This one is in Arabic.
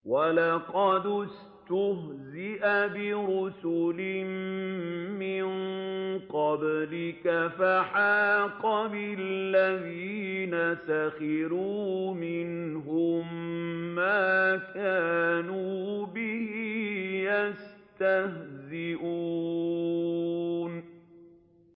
وَلَقَدِ اسْتُهْزِئَ بِرُسُلٍ مِّن قَبْلِكَ فَحَاقَ بِالَّذِينَ سَخِرُوا مِنْهُم مَّا كَانُوا بِهِ يَسْتَهْزِئُونَ